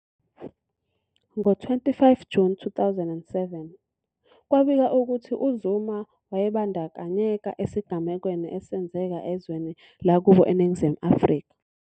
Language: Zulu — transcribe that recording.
Ngo-25 Juni 2007, kwabikwa ukuthi uZuma wayebandakanyeka esigamekweni esenzeka ezweni lakubo iNingizimu Afrika.